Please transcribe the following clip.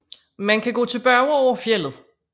Man kan gå tilbage over fjeldet